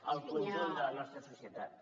al conjunt de la nostra societat